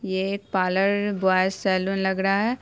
ये parlour boys salon लग रहा है।